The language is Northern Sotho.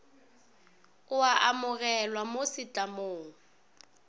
o a amogelwa mo setlamong